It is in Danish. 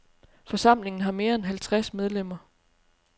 Forsamlingen har mere end halvtreds medlemmer.